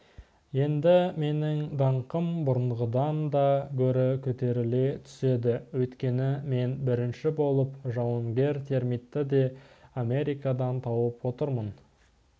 енді менің даңқым бұрынғыдан да гөрі көтеріле түседі өйткені мен бірінші болып жауынгер термитті де америкадан тауып отырмын